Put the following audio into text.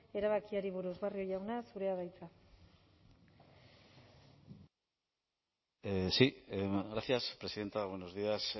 erabakiari buruz barrio jauna zurea da hitza sí gracias presidenta buenos días